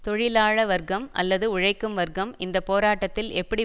தொழிலாள வர்க்கம் அல்லது உழைக்கும் வர்க்கம் இந்த போராட்டத்தில் எப்படி